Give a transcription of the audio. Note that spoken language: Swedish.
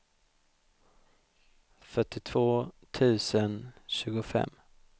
fyrtiotvå tusen tjugofem